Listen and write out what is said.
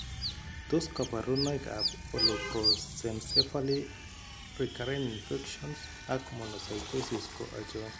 Tos kaborunoik ab Holoprosencephaly, recurrent infections, ak monocytosis ko achon